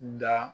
Da